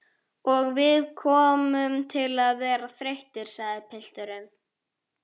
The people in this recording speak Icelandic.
Og við komum til að verða þreyttir, sagði pilturinn.